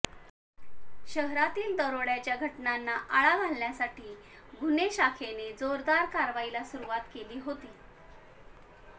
शहरातील दरोड्याच्या घटनांना आळा घालण्यासाठी गुन्हे शाखेने जोरदार कारवाईला सुरुवात केली होती